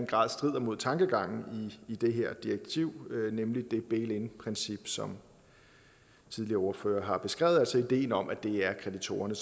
grad strider mod tankegangen i det her direktiv nemlig det bail in princip som tidligere ordførere har beskrevet altså ideen om at det er investorerne